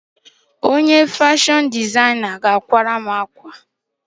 Ọkpa àkwá ga-akwatara m àkwá!